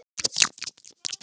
Þá fór sú von!